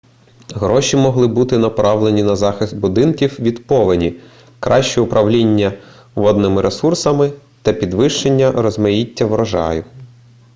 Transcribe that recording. гроші могли бути направлені на захист будинків від повені краще управління водними ресурсами та підвищення розмаїття врожаю